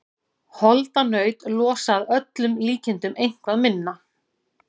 Holdanaut losa að öllum líkindum eitthvað minna.